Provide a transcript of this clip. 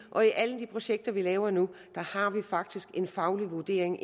og i alle de projekter vi laver nu har vi faktisk en faglig vurdering